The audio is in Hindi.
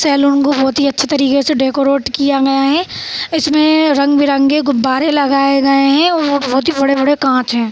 सैलून को बहुत ही अच्छी तरीके से डेकोरेट किया गया है इसमें रंग-बिरंगी गुब्बारे लगाए गए हैं और बहुत ही बड़े-बड़े कांच है।